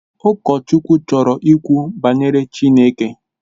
Ụkọchukwu chọrọ ikwu banyere Chineke